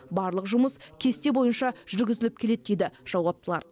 барлық жұмыс кесте бойынша жүргізіліп келеді дейді жауаптылар